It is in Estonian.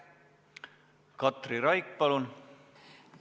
Katri Raik, palun!